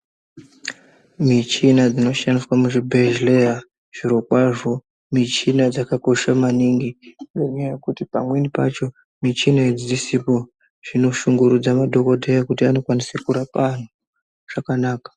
Michini dzinoshandiswa muzvibhedhlera zvirokwazvo michini dzakakosha maningi ngenyaya yekuti pamweni pacho michini idzi dzisipo zvinoshungurudza madhokodheya kuti anokwanise kurapa antu zvakanaka.